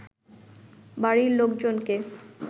বাড়ির লোকজনকে